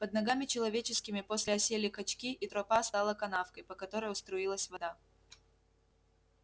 под ногами человеческими после осели кочки и тропа стала канавкой по которой струилась вода